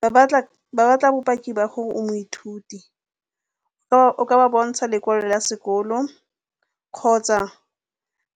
Ba batla bopaki ba gore o moithuti. O ka ba bontsha lekwalo la sekolo kgotsa